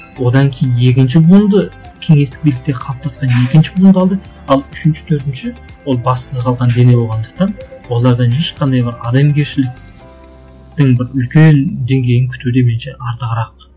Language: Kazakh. одан кейін екінші буынды кеңестік билікте қалыптасқан екінші буын қалды ал үшінші төртінші ол бассыз қалған дене болғандықтан олардан ешқандай бір адамгершіліктің бір үлкен деңгейін күту демейінше арты арақ